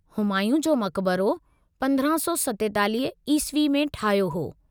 हुमायूं जो मक़बरो 1547 ईस्वी में ठहियो हो।